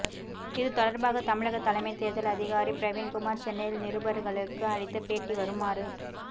இதுதொடர்பாக தமிழக தலைமை தேர்தல் அதிகாரி பிரவீன்குமார் சென்னையில் நிருபர்களுக்கு அளித்த பேட்டி வருமாறு